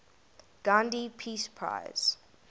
gandhi peace prize